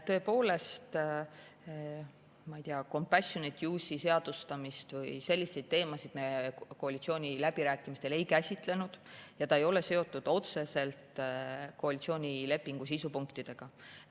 Tõepoolest, ma ei tea, compassionate-use'i seadustamist või selliseid teemasid me koalitsiooniläbirääkimistel ei käsitlenud ja see ei ole seotud otseselt koalitsioonilepingu sisu punktidega.